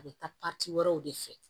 A bɛ taa wɛrɛw de fɛ